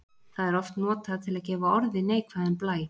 Það er oft notað til að gefa orði neikvæðan blæ.